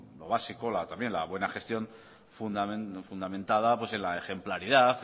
lo básico la buena gestión fundamentada en la ejemplaridad